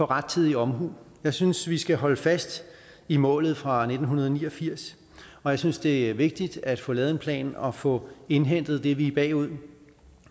rettidig omhu jeg synes vi skal holde fast i målet fra nitten ni og firs og jeg synes det er vigtigt at få lavet en plan og få indhentet det vi er bagud med